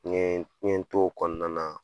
N yee n ye n t'o kɔɔna na